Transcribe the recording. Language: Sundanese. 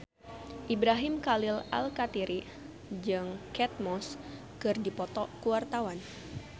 Ibrahim Khalil Alkatiri jeung Kate Moss keur dipoto ku wartawan